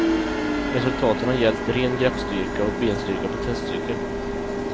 Resultaten har gällt ren greppstyrka och benstyrka på testcykel.